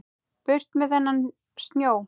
Burt með þennan snjó.